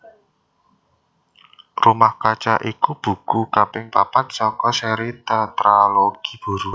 Rumah Kaca iku buku kaping papat saka séri Tétralogi Buru